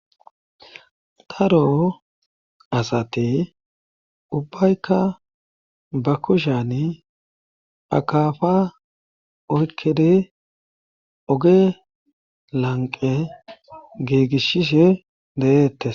Daro asati ubbaykka ba kushani akafa oykkedi oge lanqe giigishshishe deyeettes.